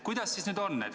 Kuidas siis nüüd on?